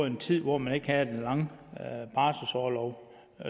en tid hvor man ikke havde så lang barselsorlov